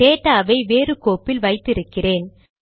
டேடாவை வேறு கோப்பில் வைத்தி இருக்கிறேன்